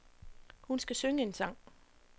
Hun skal synge en sang.